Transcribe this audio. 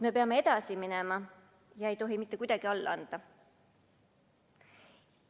Me peame edasi minema ja ei tohi mitte kuidagi alla anda.